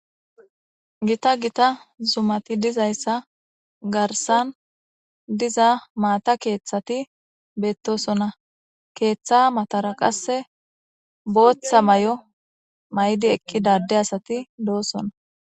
Gita gita zumati dizayssa garsan diza maata keeththati beettosona keeththa matara qasse booththa mayo maydi eqqi dadde asati doosona.